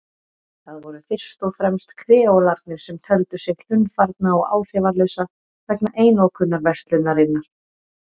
Það voru fyrst og fremst kreólarnir sem töldu sig hlunnfarna og áhrifalausa vegna einokunarverslunarinnar.